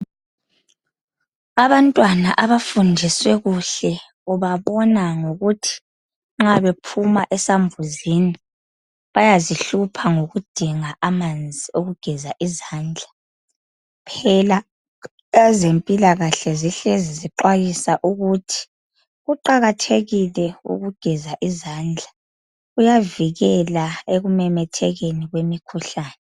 Abantwana abafundiswe kuhle ubabona ngokuthi nxa bephuma esambuzini bayazihlupha ngokudinga amanzi okugeza izandla phela ezempilakahle zihlezi zixwayisa ukuthi kuqakathekile ukugeza izandla., kuyavikela ekumemethekeni komkhuhlane